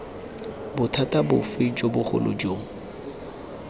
bothata bofe jo bogolo jo